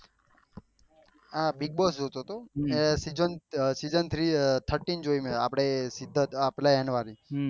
હા Bigg Boss જોતો હતો ને સીસન થ્રી thirteen જોયું આપળે પેલા એનો